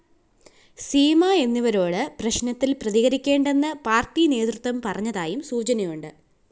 സീമ എന്നിവരോട് പ്രശ്‌നത്തില്‍ പ്രതികരിക്കേണ്ടെന്ന് പാര്‍ട്ടി നേതൃത്വം പറഞ്ഞതായും സൂചനയുണ്ട്